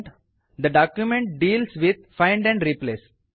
the document deals with find and replace